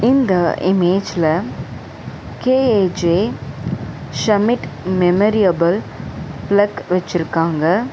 இந்த இமேஜ்ல K A J Schmidt மெமரியபல் ஃபிளக் வெச்சுருக்காங்க.